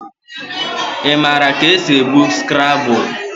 Ị maara ka esi egwu Skrabụl?